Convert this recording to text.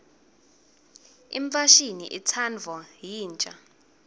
imfashini itsandvwa yinsha